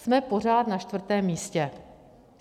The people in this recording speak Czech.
Jsme pořád na čtvrtém místě.